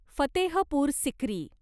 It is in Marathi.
फतेहपूर सिक्री